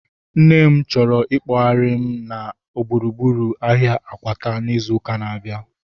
Nne m chọrọ ikpoghari m na gburugburu ahia Akwata izu ụka na-abịa